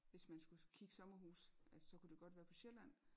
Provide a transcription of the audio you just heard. Hvis man skulle kigge sommerhus at så kunne det godt være på Sjælland